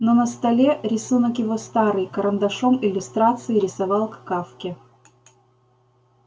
но на столе рисунок его старый карандашом иллюстрации рисовал к кафке